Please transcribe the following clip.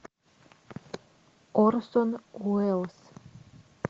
орсон уэллс